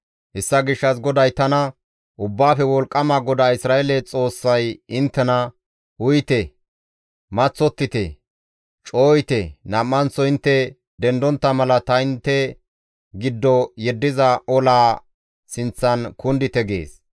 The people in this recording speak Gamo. Hessa gishshas GODAY tana, «Ubbaafe Wolqqama GODAA Isra7eele Xoossay inttena, ‹Uyite; maththottite; cooyite nam7anththo intte dendontta mala ta intte giddo yeddiza olaa sinththan kundite› gees.